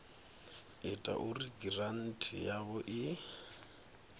ita uri giranthi yavho i